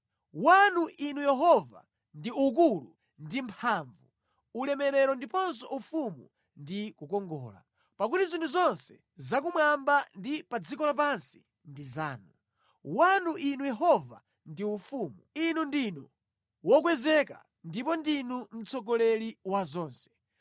Wanu, Inu Yehova ndi ukulu ndi mphamvu, ulemerero ndiponso ufumu ndi kukongola. Pakuti zinthu zonse zakumwamba ndi pa dziko lapansi ndi zanu. Wanu, Inu Yehova ndi ufumu; Inu ndinu wokwezeka ndipo ndinu mtsogoleri wa zonse.